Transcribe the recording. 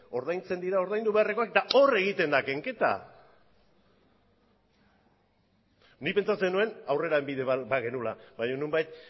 ordaintzen dira ordaindu beharrekoak eta hor egiten da kenketa nik pentsatzen nuen aurrera bide bat bagenuela baina nonbait